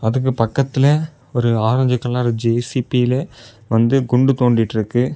அதுக்கு பக்கத்துல ஒரு ஆரஞ்சு கலர் ஜே_சீ_பி வாது குண்டு தோண்டிட்டு இருக்கு.